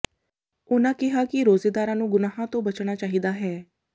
ਉਨ੍ਹਾਂ ਕਿਹਾ ਕਿ ਰੋਜ਼ੇਦਾਰਾਂ ਨੂੰ ਗੁਨਾਹਾਂ ਤੋਂ ਬਚਣਾ ਚਾਹੀਦਾ ਹੈ